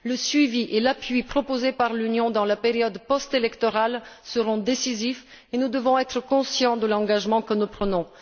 Le suivi et l'appui proposés par l'Union dans la période postélectorale seront décisifs et nous devons être conscients de l'engagement que nous prenons.